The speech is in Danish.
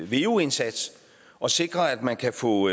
veu indsats og sikre at man kan få